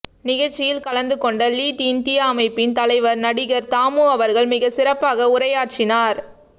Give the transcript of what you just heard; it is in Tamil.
நிகழ்சியில் கலந்துகொண்ட லீட் இண்டியா அமைப்பின் தலைவர் நடிகர் தாமு அவர்கள் மிகச் சிறப்பாக உரையாற்றினார்